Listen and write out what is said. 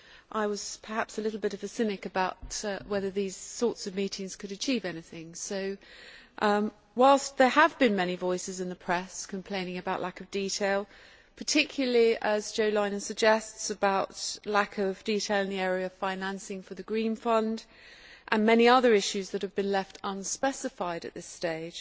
I was perhaps a bit of a cynic about whether these sorts of meetings could achieve anything but, whilst there have been many voices in the press complaining about a lack of detail, particularly as Jo Leinen suggests about lack of detail in the area of financing for the Green Fund and many other issues that have been left unspecified at this stage,